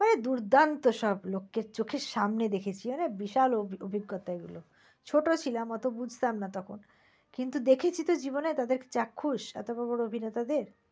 ওরে দুর্দান্ত সব লোককে চোখের সামনে দেখেছি। আরে বিশাল অভিজ্ঞতা এগুলো। ছোট ছিলাম ও তো বুঝতাম না তখন। কিন্তু দেখেছি তো জীবনে তাদের চাক্ষুষ অত বড় অভিনেতাদের।